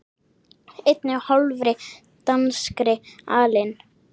einni og hálfri danskri alin